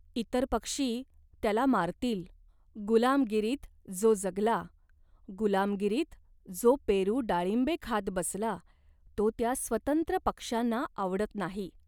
इतर पक्षी त्याला मारतील. गुलामगिरीत जो जगला, गुलामगिरीत जो पेरू डाळिबे खात बसला, तो त्या स्वतंत्र पक्ष्यांना आवडत नाही.